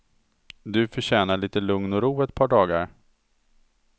Du förtjänar lite lugn och ro i ett par dagar.